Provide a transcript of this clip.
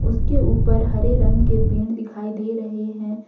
उसके ऊपर हरे रंग के पेड़ दिखाई दे रहे हैं।